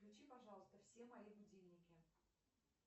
включи пожалуйста все мои будильники